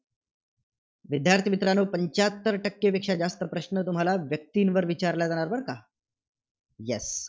विद्यार्थी मित्रांनो, पंच्याहत्तर टक्केपेक्षा जास्त प्रश्न तुम्हाला व्यक्तींवर विचारले जाणार बरं का.